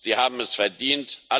Sie haben es verdient.